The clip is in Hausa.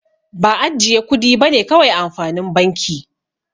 Ba ajjiye kudi bane kawai amfanin banki.